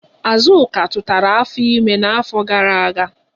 Azụka tụtara afọ ime n'afọ gara aga.